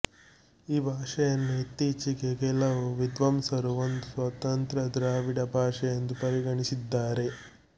ಈ ಭಾಷೆಯನ್ನು ಇತ್ತೀಚೆಗೆ ಕೆಲವು ವಿದ್ವಾಂಸರು ಒಂದು ಸ್ವತಂತ್ರ ದ್ರಾವಿಡ ಭಾಷೆ ಎಂದು ಪರಿಗಣಿಸಿದ್ದಾರೆ